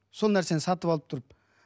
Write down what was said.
сол нәрсені сатып алып тұрып